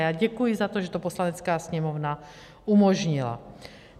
Já děkuji za to, že to Poslanecká sněmovna umožnila.